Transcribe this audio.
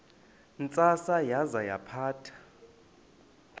ntsasana yaza yaphatha